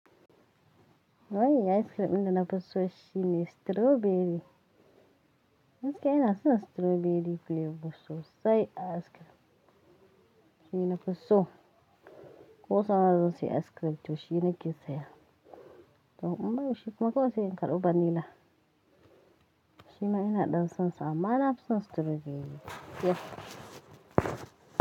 Wai ice cream da na fi so shine strawberry. Yanzu kai na san strawberry flavor sosai a ice cream. Shine nafi so. Ko suna zance ice cream to shine ke saya. To in ba babu shi kuma kawai sai in karɓi vanilla. Shima ina ɗan son sa amma nafi son strawberry yiya.